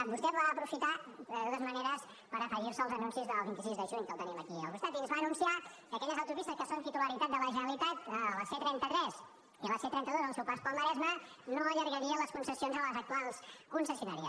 vostè va aprofitar de totes maneres per afegir se als anuncis del vint sis de juny que el tenim aquí al costat i ens va anunciar que aquelles autopistes que són titularitat de la generalitat la c trenta tres i la c trenta dos al seu pas pel maresme no allargarien les concessions a les actuals concessionàries